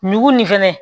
Ɲugu nin fɛnɛ